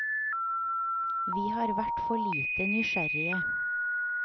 Vi har vært for lite nysgjerrige.